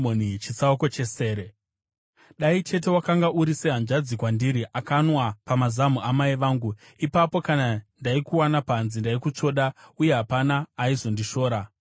Dai chete wakanga uri sehanzvadzi kwandiri, akanwa pamazamu amai vangu! Ipapo kana ndaikuwana panze, ndaikutsvoda uye hapana aizondishora.